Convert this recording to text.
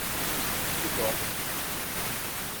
кикидо